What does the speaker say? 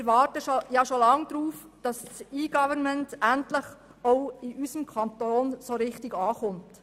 Wir warten schon lange darauf, dass das E-Government auch in unserem Kanton richtig ankommt.